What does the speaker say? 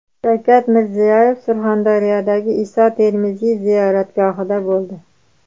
Shavkat Mirziyoyev Surxondaryodagi Iso Termiziy ziyoratgohida bo‘ldi.